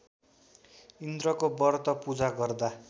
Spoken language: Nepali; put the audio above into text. इन्द्रको व्रत पूजा गर्दा